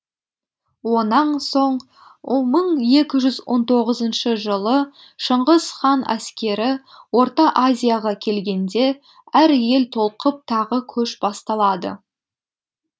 онаң соң мың екі жүз он тоғызыншы жылы шыңғыс хан әскері орта азияға келгенде әр ел толқып тағы көш басталады